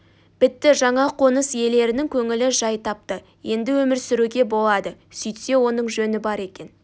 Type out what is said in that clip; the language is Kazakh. бітті жаңа қоныс иелерінің көңілі жай тапты енді өмір сүруге болады сөйтсе оның жөні бар екен